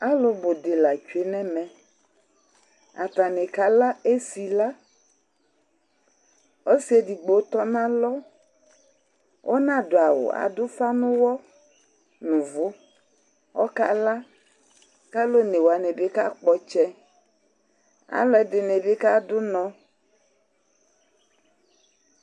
Alʊ bʊ di tsue nɛmɛ Atani kala esɩka Ɔsɩ edigbo tɔnalɔ, ɔnadʊ awʊ Adʊ ʊfa nʊyɔ nʊ ʊvʊ, ɔkala, kalʊ one wanɩ bi kakpɔ tsɛ Alʊ ɛdini bi kadʊ ʊnɔ